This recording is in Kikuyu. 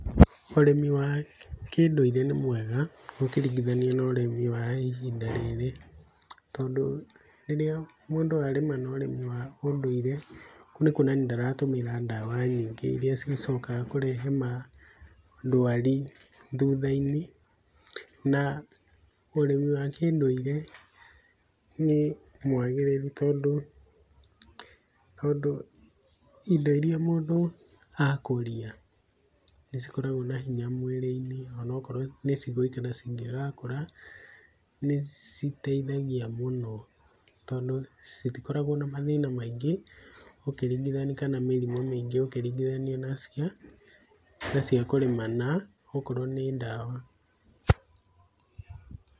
Ũrĩmĩ wa kĩ ũndũire nĩ mwega ũkĩringithania na wa ihinda rĩrĩ tondũ rĩrĩa mũndũ arĩma na ũrĩmi wa ũndũire kũu nĩ kuonania ndaratũmĩra ndawa nyingĩ irĩa cicokaga kũrehe ma ndũari thutha-inĩ. Na ũrĩmi wa kĩ ũndũire nĩ mwagirĩru tondũ indo irĩa mũndũ akũria nĩ cikoragwo na hinya mwĩrĩ-inĩ ona okorwo nĩ cigũikara cingĩgakũra. Nĩ citeithagia mũno tondũ citikorago na maũndũ maingĩ ũkĩringithania kana mĩrimũ ũkĩringithania na cia kũrĩma na okorwo nĩ ndawa.